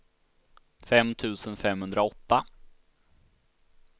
fem tusen femhundraåtta